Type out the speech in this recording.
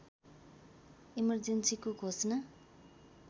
इमर्जेन्‍सीको घोषणा